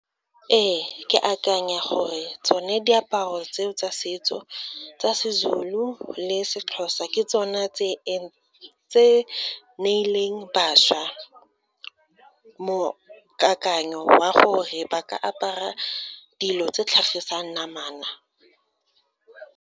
Ee, ke akanya gore tsone diaparo tseo tsa setso, tsa seZulu le seXhosa ke tsona tse neileng bašwa mo kakanyo wa gore ba ka apara dilo tse tlhagisang namana.